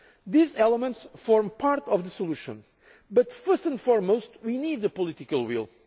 tragedy. These elements form part of the solution, but first and foremost we need the